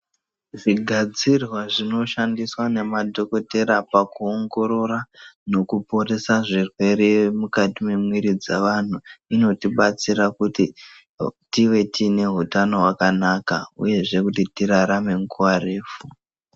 Zvigadzirwa zvinoshandiswa nemadhokoteya pakuongorora nokuporesa zvirwere mukati mwemwiri dzavantu. Inotibatsira kuti tive tiine hutano hwakanaka, uyezve kuti tirarame nguva refu.